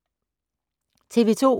TV 2